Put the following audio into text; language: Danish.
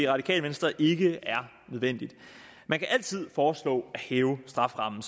radikale venstre ikke er nødvendigt man kan altid som foreslå at hæve strafferammen